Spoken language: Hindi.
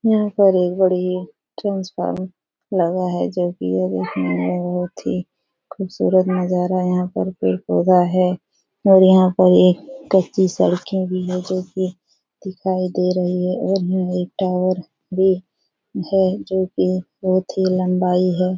यहाँ पर एक बड़ी ही ट्रांसफार्मर लगा है जो की यह देखने में बहुत ही खूबसूरत नजारा है । यहां पर पेड़-पौधा है और यहाँ पर एक कच्ची सड़के भी है जो की दिखाई दे रही है और यह एक टावर भी है जो की बहुत ही लम्बाई है।